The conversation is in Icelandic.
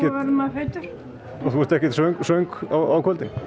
verður maður feitur og þú ert ekkert svöng svöng á kvöldin